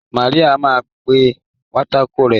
Má a pà pátákó rẹ́.